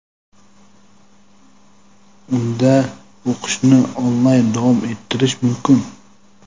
unda o‘qishni onlayn davom ettirishi mumkin.